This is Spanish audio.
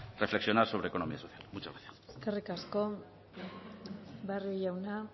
reflexionar sobre economía social muchas gracias eskerrik asko barrio jauna